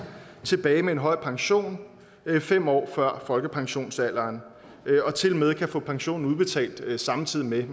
tilbage med en høj pension fem år før folkepensionsalderen og tilmed kan få pensionen udbetalt samtidig med at